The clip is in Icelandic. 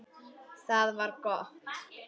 Það var gott